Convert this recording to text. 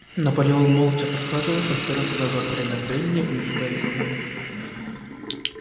наполеон молча прохаживается вперёд и назад время от времени обнюхивая землю